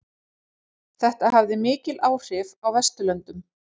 Þetta hafði mikil áhrif á Vesturlöndum.